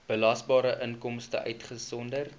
belasbare inkomste uitgesonderd